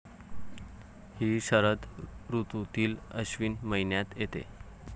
हि शरद ऋतूतील अश्विन महिन्यात येते.